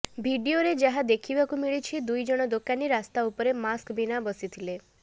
ଭିଡିଓରେ ଯାହା ଦେଖିବାକୁ ମିଳୁଛି ଦୁଇଜଣ ଦୋକାନୀ ରାସ୍ତା ଉପରେ ମାସ୍କ ବିନା ବସିଥିଲେ